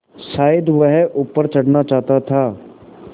शायद वह ऊपर चढ़ना चाहता था